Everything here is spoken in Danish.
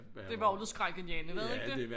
Det var også skrækindjagende var det ikke det